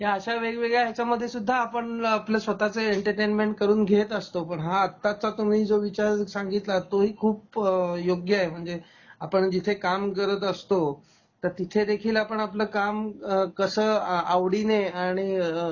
ह्या अश्या वेगवेगळ्या ह्याच्यामध्ये सुद्धा आपण आपल्या स्वत:च एंटरटेनमेंट करून घेत असतो. पण हा आत्ताचा तुम्ही जो विचार सांगितला तोही खूप योग्य आहे, म्हणजे आपण जिथे काम करत असतो तर तिथे देखील आपण आपल काम कस आ आवडीने आणि